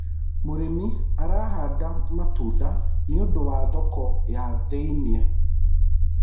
mũrĩmi arahanda matunda nĩũndũ wa thoko ya thi-inĩ